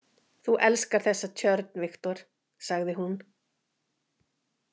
Þú elskar þessa tjörn, Viktor, sagði hún.